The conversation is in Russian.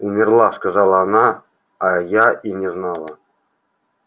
умерла сказала она а я и не знала